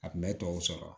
A kun bɛ tɔw sɔrɔ